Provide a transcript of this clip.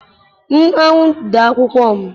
M anwụ dey akwụkwọ m.